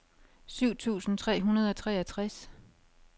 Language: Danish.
syv tusind tre hundrede og treogtres